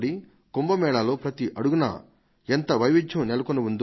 కుంభ మేళాలో అడుగు అడుగునా ఎంత వైవిధ్యం నెలకొని ఉందో